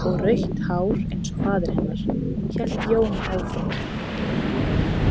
Og rautt hár eins og faðir hennar, hélt Jón áfram.